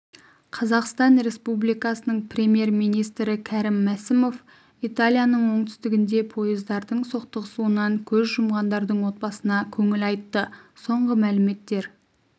қазақстан республикасының премьер-министрі кәрім мәсімов италияның оңтүстігінде поездардың соқтығысуынан көз жұмғандардың отбасына көңіл айтты соңғы мәліметтер